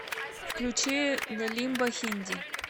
включи зе лимба хинди